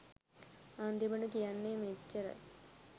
අන්තිමට කියන්නෙ මෙච්ච්රයි